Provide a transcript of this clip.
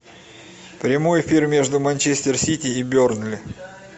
прямой эфир между манчестер сити и бернли